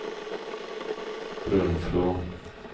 Brunflo